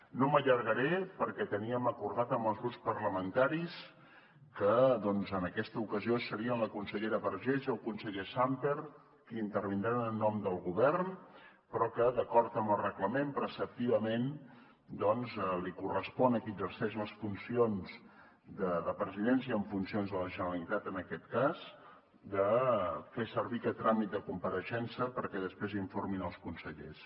no m’allargaré perquè teníem acordat amb els grups parlamentaris que doncs en aquesta ocasió serien la consellera vergés i el conseller sàmper qui intervindran en nom del govern però que d’acord amb el reglament preceptivament doncs li correspon a qui exerceix les funcions de presidència en funcions de la generalitat en aquest cas de fer servir aquest tràmit de compareixença perquè després informin els consellers